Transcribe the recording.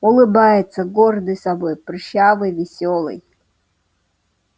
улыбается гордый собой прыщавый весёлый